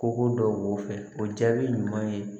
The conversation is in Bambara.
Kogo dɔw b'o fɛ o jaabi ɲuman ye